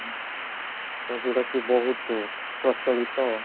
ତ ଯୋଉଟା କି ବହୁତ ପ୍ରଚଳିତ